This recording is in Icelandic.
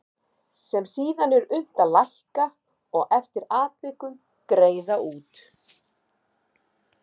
sem síðan er unnt að lækka og eftir atvikum greiða út.